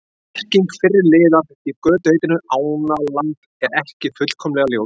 Merking fyrri liðar í götuheitinu Ánaland er ekki fullkomlega ljós.